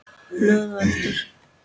Blöð og eldur.